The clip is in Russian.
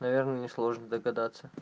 наверное не сложно догадаться